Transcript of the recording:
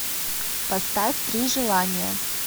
поставь три желания